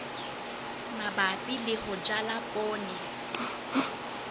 mabapi le ho jala poone